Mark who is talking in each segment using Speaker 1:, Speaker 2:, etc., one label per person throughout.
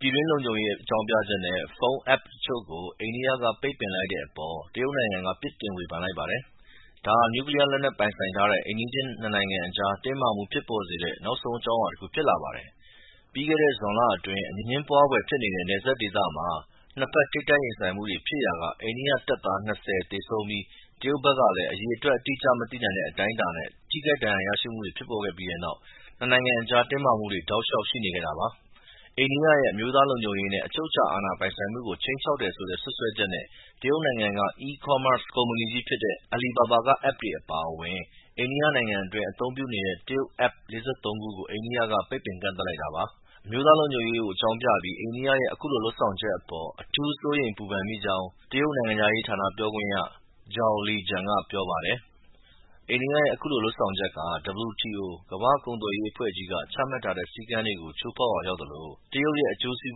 Speaker 1: ပြည်တွင်းလုံခြုံရေးအကြောင်းပြချက်နဲ့ ဖုန်း App တချို့ကို အိန္ဒိယက ပိတ်ပင်လိုက်တဲ့အပေါ် တရုတ်နိုင်ငံက ပြစ်တင် ဝေဖန်လိုက်ပါတယ်။ ဒါဟာ နျူကလီးယားလက်နက်ပိုင်ဆိုင်ထားတဲ့ အိမ်နီးချင်း နှစ်နိုင်ငံအကြား တင်းမာမှုဖြစ်ပေါ်စေတဲ့ နောက်ဆုံးအကြောင်းအရာ တခု ဖြစ်လာပါတယ်။ ပြီးခဲ့တဲ့ ဇွန်လအတွင်း အငြင်းပွားဖွယ်ဖြစ်နေတဲ့ နယ်စပ်ဒေသမှာ နှစ်ဘက် ထိပ်တိုက်ရင်ဆိုင်မှုတွေဖြစ်ရာက အိန္ဒိယတပ်သား ၂၀ သေဆုံးပြီး တရုတ်ဘက်ကလည်း အရေအတွက်အတိအကျ မသိနိုင်တဲ့အတိုင်းအတာနဲ့ ထိခိုက် ဒဏ်ရာရမှုတွေ ဖြစ်ပေါ်ခဲ့ပြီးတဲ့နောက် နှစ်နိုင်ငံအကြား တင်းမာမှုတွေ တောက်လျှောက် ရှိနေခဲ့တာပါ။ အိန္ဒိယရဲ့ အမျိုးသားလုံခြုံရေးနဲ့ အချုပ်အခြာအာဏာ ပိုင်ဆိုင်မှုကို ခြိမ်းခြောက်တယ်ဆိုတဲ့ စွပ်စွဲချက်နဲ့ တရုတ်နိုင်ငံက e-commerce ကုမ္ပဏီကြီးဖြစ်တဲ့ Alibaba က App အပါအဝင် အိန္ဒိယနိုင်ငံအတွင်း အသုံးပြုနေတဲ့ တရုတ် App ၄၃ ခုကို အိန္ဒိယက ပိတ်ပင် ကန့်သတ်လိုက်တာပါ။ အမျိုးသားလုံခြုံရေးအကြောင်းပြပြီး အိန္ဒိယရဲ့ အခုလို လုပ်ဆောင်ချက်အပေါ် အထူး စိုးရိမ်ပူပန်ကြောင်း တရုတ်နိုင်ငံခြားရေးဌာန ပြောခွင့်ရ Zhao Lijian က ပြောပါတယ်။ “အိန္ဒိယရဲ့ အခုလို လုပ်ဆောင်ချက်ဟာ WTO - ကမ္ဘာ့ကုန်သွယ်ရေးအဖွဲ့ကြီးက ချမှတ်ထားတဲ့ ချိုးဖောက်ရာရောက်သလို၊ တရုတ်ရဲ့ အကျိုးစီး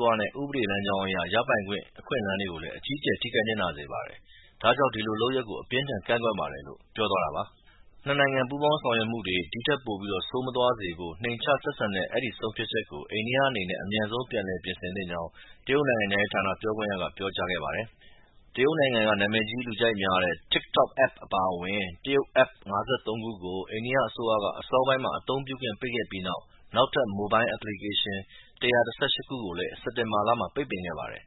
Speaker 1: ပွားနဲ့ ဥပဒေလမ်းကြောင်းအရ ရပိုင်ခွင့်အခွင့်အလမ်းတွေကို အကြီးအကျယ် ထိခိုက် နစ်နာစေပါတယ်။ ဒါကြောင့် ဒီလုပ်ရပ်ကို အပြင်းအထန် ကန့်ကွက်ပါတယ်” - လို့ ပြောသွားတာပါ။ နှစ်နိုင်ငံပူးပေါင်းဆောင်ရွက်မှုတွေ ဒီထက်ပိုပြီး ဆိုးမသွားစေဖို့ နှိမ့်ချဆက်ဆံတဲ့ အဲဒီ ဆုံးဖြတ်ချက်ကို အိန္ဒိယအနေနဲ့ အမြန်ဆုံး ပြန်လည် ပြင်ဆင်သင့်ကြောင်းလည်း တရုတ်နိုင်ငံခြားရေးဌာန ပြောခွင့်ရက ပြောကြားခဲ့ပါတယ်။ တရုတ်နိုင်ငံက နာမည်ကြီး လူကြိုက်များတဲ့ TikTok App အပါအဝင် တရုတ် App ၅၃ ခုကို အိန္ဒိယအစိုးရက အစောပိုင်းမှာ အသုံးပြုခွင့် ပိတ်ပင်ခဲ့ပြီး နောက်ထပ် Mobile Application ၁၁၈ ခုကိုလည်း စက်တင်ဘာလမှာ ပိတ်ပင်ခဲ့ပါတယ်